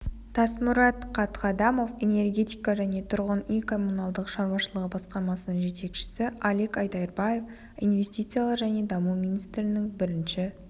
тасмұрат қатқадамов энергетика және тұрғын үй-коммуналдық шаруашылығы басқармасының жетекшісі алик айдарбаев инвестициялар және даму министрінің бірінші